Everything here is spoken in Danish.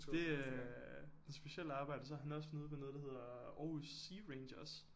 Det øh et specielt arbejde så er han også nede ved noget der hedder Aarhus SeaRangers